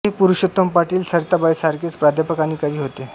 हे पुरुषोत्तम पाटील सरिताबाईंसारखेच प्राध्यापक आणि कवी होते